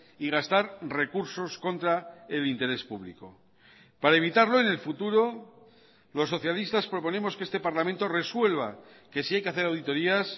y gastar recursos contra el interés público para evitarlo en el futuro los socialistas proponemos que este parlamento resuelva que si hay que hacer auditorías